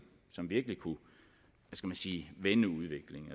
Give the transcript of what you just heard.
som virkelig kunne vende udviklingen